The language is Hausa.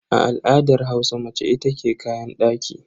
A al'adar Hausa mace ita ke kayan daki.